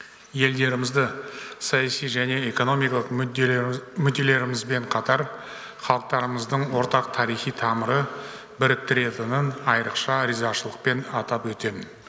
елдерімізді саяси және экономикалық мүдделерімізбен қатар халықтарымыздың ортақ тарихи тамыры біріктіретінін айрықша ризашылықпен атап өтемін